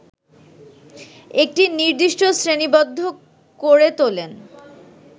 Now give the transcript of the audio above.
একটি নির্দিষ্ট শ্রেণীবদ্ধ করে তোলেন